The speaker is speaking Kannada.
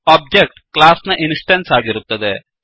ಒಬ್ಜೆಕ್ಟ್ ಕ್ಲಾಸ್ ನ ಇನ್ಸ್ ಟೆನ್ಸ್ ಆಗಿರುತ್ತದೆ